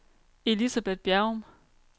Elisabeth Bjerrum